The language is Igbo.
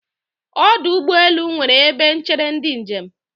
Ọdụ ụgbọelu nwere ebe n̄chere ndị njem.